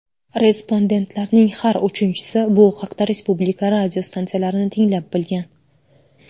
Respondentlarning har uchinchisi bu haqda respublika radiostansiyalarini tinglab bilgan.